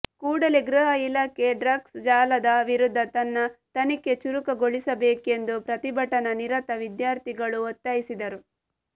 ಕೂಡಲೇ ಗೃಹ ಇಲಾಖೆ ಡ್ರಗ್ಸ್ ಜಾಲದ ವಿರುದ್ದ ತನ್ನ ತನಿಖೆ ಚುರುಕುಗೊಳಿಸಬೇಕೆಂದು ಪ್ರತಿಭಟನಾ ನಿರತ ವಿದ್ಯಾರ್ಥಿಗಳು ಒತ್ತಾಯಿಸಿದರು